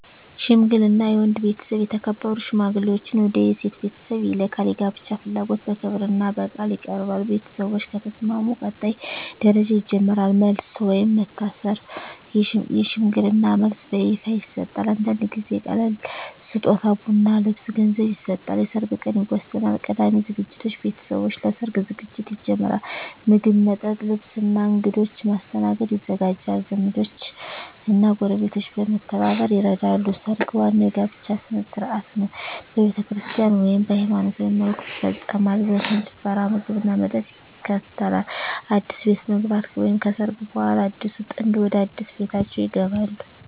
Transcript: ሽምግልና የወንድ ቤተሰብ የተከበሩ ሽማግሌዎችን ወደ የሴት ቤተሰብ ይልካል። የጋብቻ ፍላጎት በክብርና በቃል ይቀርባል። ቤተሰቦች ከተስማሙ ቀጣይ ደረጃ ይጀምራል። መልስ (ወይም መታሰር) የሽምግልና መልስ በይፋ ይሰጣል። አንዳንድ ጊዜ ቀላል ስጦታ (ቡና፣ ልብስ፣ ገንዘብ) ይሰጣል። የሰርግ ቀን ይወሰናል። ቀዳሚ ዝግጅት ቤተሰቦች ለሰርግ ዝግጅት ይጀምራሉ። ምግብ፣ መጠጥ፣ ልብስ እና እንግዶች ማስተናገድ ይዘጋጃል። ዘመዶች እና ጎረቤቶች በመተባበር ይረዳሉ። ሰርግ ዋናው የጋብቻ ሥነ ሥርዓት ነው። በቤተክርስቲያን (ወይም በሃይማኖታዊ መልኩ) ይፈጸማል። ዘፈን፣ ጭፈራ፣ ምግብና መጠጥ ይከተላል። አዲስ ቤት መግባት (ከሰርግ በኋላ) አዲሱ ጥንድ ወደ አዲስ ቤታቸው ይገባሉ።